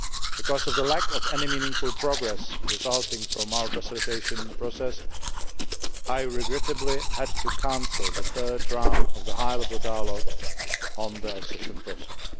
Because of the lack of any meaningful progress resulting from our facilitation process, I regrettably had to cancel the third round of the High Level Dialogue on the Accession Process.